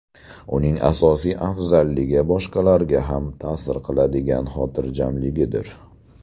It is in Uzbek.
Uning asosiy afzalligi boshqalarga ham ta’sir qiladigan xotirjamligidir.